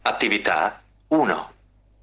ура